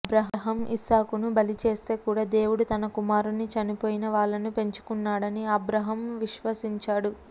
అబ్రాహాము ఇస్సాకును బలి చేస్తే కూడా దేవుడు తన కుమారుని చనిపోయిన వాళ్ళను పెంచుకున్నాడని అబ్రాహాము విశ్వసించాడు